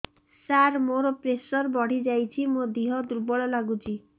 ସାର ମୋର ପ୍ରେସର ବଢ଼ିଯାଇଛି ମୋ ଦିହ ଦୁର୍ବଳ ଲାଗୁଚି